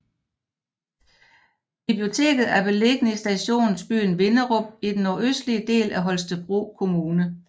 Biblioteket er beliggende i stationsbyen Vinderup i den nordøstlige del af Holstebro Kommune